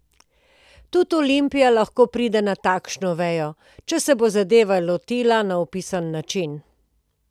Tudi Olimpija lahko pride na takšno vejo, če se bo zadeve lotila na opisan način.